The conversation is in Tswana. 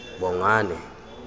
bongane